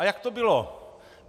A jak to bylo?